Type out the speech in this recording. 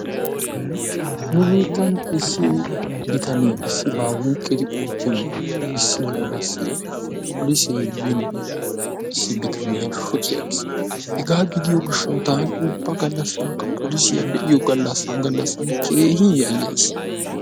nu biittan issi bitanee issibaa wuuqidi oottin issi galaassi polisee yiine bitaaniyaa shocci aggiis. Hegaa gidiyoo giishaw taani ubba gallaasinkka polisiyaa be'iyoo gallasaan gallaasan keehin yaayayis.